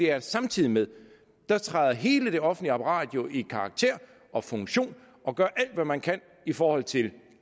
er at samtidig med det træder hele det offentlige apparat jo i karakter og funktion og gør alt hvad man kan i forhold til